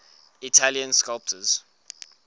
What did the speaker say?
italian sculptors